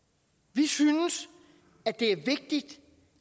vi synes det er vigtigt